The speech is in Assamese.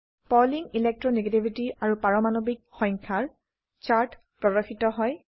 পাউলিং ইলেকট্ৰো নেগেটিভিটি আৰু পাৰমাণবিক সংখ্যা ৰ চাৰ্ট প্ৰদৰ্শিত হয়